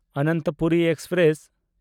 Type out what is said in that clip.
Ananthapuri express